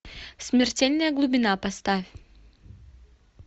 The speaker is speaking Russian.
смертельная глубина поставь